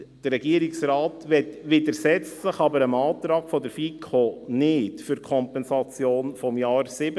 Der Regierungsrat widersetzt sich aber dem Antrag der FiKo für die Kompensation des Jahres 2017 nicht.